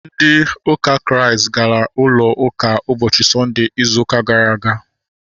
Ndị ụka Kraịst gara ụlọ ụka ụbọchị Sọnde ịzụ ụka gara aga